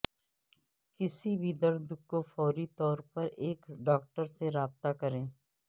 کسی بھی درد کو فوری طور پر ایک ڈاکٹر سے رابطہ کریں